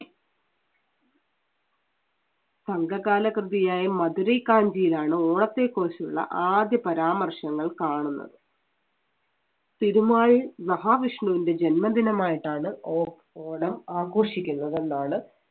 സംഘകാല കൃതിയായ മധുരെെ കാഞ്ചിയിലാണ് ഓണത്തെക്കുറിച്ചുള്ള ആദ്യ പരാമർശങ്ങൾ കാണുന്നത്. പെരുമാൾ മഹാവിഷ്ണുവിന്‍റെ ജന്മദിനമായിട്ടാണ് ഓ~ഓണം ആഘോഷിക്കുന്നത് എന്നാണ്